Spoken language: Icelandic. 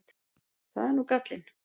Það er nú gallinn.